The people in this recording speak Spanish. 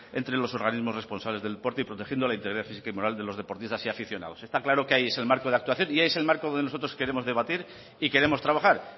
entre los organismos responsables del deporte y protegiendo la integridad física y moral de los deportistas y aficionados está claro que ahí es el marco de actuación y ahí es el marco donde nosotros queremos debatir y queremos trabajar